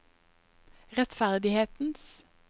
rettferdighetens